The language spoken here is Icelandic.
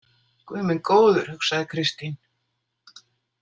Guð minn góður, hugsaði Kristín.